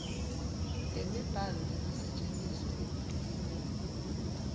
temibhalo lengasetjentiswa ekufundziseni